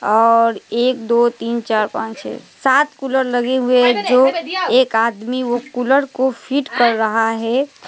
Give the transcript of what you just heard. और एक दो तीन चार पांच छ सात कूलर लगे हुए है जो एक आदमी ओ कूलर को फिट कर रहा है।